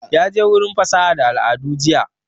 Ya je wurin fasaha da al'adu jiya